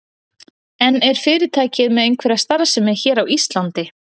En er fyrirtækið með einhverja starfsemi hér á Íslandi?